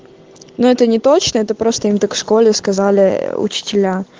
но это неточно это просто им так в школе сказали учителя